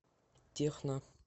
техно